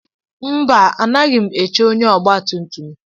Mba anaghị m eche ónyé ọgba tum tum.